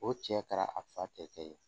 O cɛ kɛra a fa tɛ kɛ yen